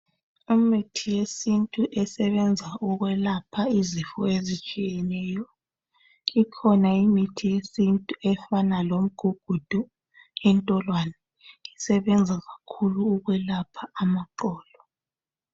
Umuthi wesintu osebenza ukwelapha ezitshiyeneyo ikhona imithi yesintu efana lemigugudu intolwani isebenza kakhulu ukwelapha amaqolo